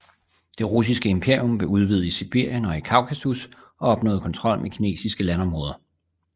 Det russiske imperium blev udvidet i Sibirien og i Kaukasus og opnåede kontrol med kinesiske landområder